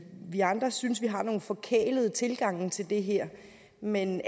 vi andre synes vi har nogle forkælede tilgange til det her men